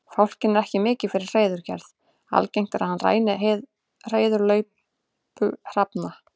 Fálkinn er ekki mikið fyrir hreiðurgerð, algengt er að hann ræni hreiðurlaupa hrafna.